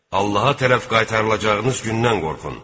Allaha tərəf qaytarılacağınız gündən qorxun.